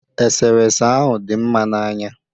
Eserese ahụ dị mma n'anya